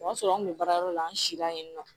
O y'a sɔrɔ an kun bɛ baarayɔrɔ la an sila yen nɔ